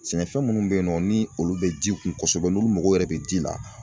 Sɛnɛfɛn minnu bɛ yen nɔ ni olu bɛ ji kun kosɛbɛ n'olu mago yɛrɛ bɛ ji la.